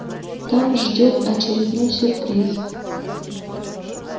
там ждёт очередной сюрприз